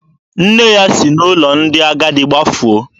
Nne ya si n'ụlọ ndị agadi gbafuo.